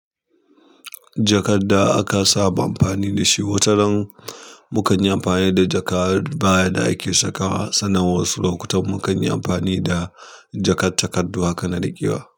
Jakar da aka saba amfani da shi wataran mu kan yi amfani da jaka baya da ake saka sana. Wasu lokutan mu kan yi amfani da jakar takardu aka naɗe giwa.